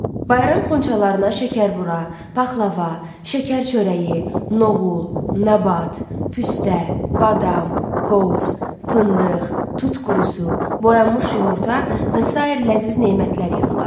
Bayram xonçalarına şəkərbura, paxlava, şəkərçörəyi, noğul, nabat, püstə, badam, qoz, fındıq, tut qurusu, boyanmış yumurta və sair ləziz nemətlər yığılar.